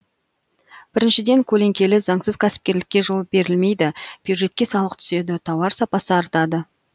біріншіден көлеңкелі заңсыз кәсіпкерлікке жол берілмейді бюджетке салық түседі тауар сапасы артады